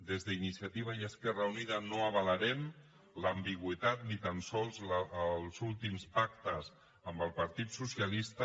des d’iniciativa i esquerra unida no avalarem l’ambigüitat ni tan sols els últims pactes amb el partit socialista